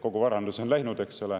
Kogu varandus on läinud, eks ole.